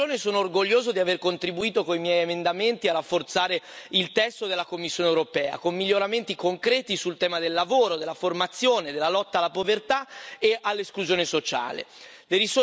Per questa ragione, sono orgoglioso di aver contribuito con i miei emendamenti a rafforzare il testo della Commissione europea, con miglioramenti concreti sul tema del lavoro, della formazione e della lotta alla povertà e all'esclusione sociale.